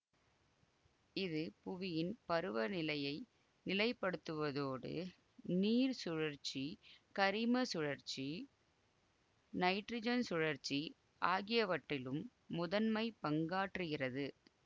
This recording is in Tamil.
இது புவியின் பருவநிலையை நிலைப்படுத்துவதோடு நீர் சுழற்சி கரிம சுழற்சி நைட்ரஜன் சுழற்சி ஆகியவற்றிலும் முதன்மை பங்காற்றுகிறது